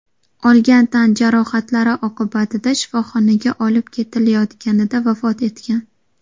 olgan tan jarohatlari oqibatida shifoxonaga olib ketilayotganida vafot etgan.